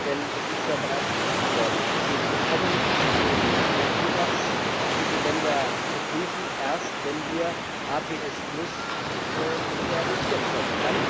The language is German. Denn es ist ja bereits gesagt worden Wir bekommen den Ansatz, diese Länder zu prüfen, erst, wenn wir APS realisieren können.